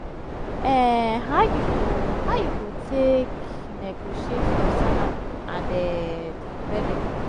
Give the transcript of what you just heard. um how you go how you go take negotiate your salary and um di benefits?